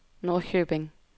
Norrköping